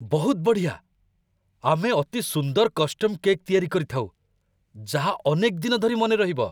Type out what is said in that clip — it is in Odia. ବହୁତ ବଢ଼ିଆ! ଆମେ ଅତି ସୁନ୍ଦର କଷ୍ଟମ୍ କେକ୍ ତିଆରି କରିଥାଉ, ଯାହା ଅନେକଦିନ ଧରି ମନେରହିବ!